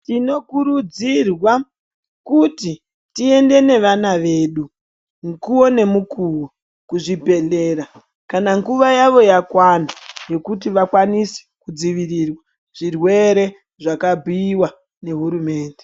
Tinokurudzirwa kuti tiende nevana vedu mukuwo nemukuwo kuzvibhedhlera kana nguva yavo yakwana yekuti vakwanise kudzivirira zvirwere zvakabhuiwa ngehurumende.